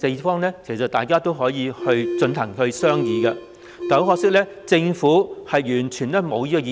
其實大家可以商議這些方案，但很可惜，政府完全無意這樣做。